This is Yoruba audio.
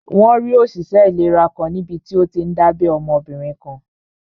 Wọ́n rí òṣìṣẹ́ ìlera kan níbití ó tíí n dábẹ́ ọmọbìnrin kan